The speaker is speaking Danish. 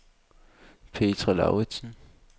Petra Lauritzen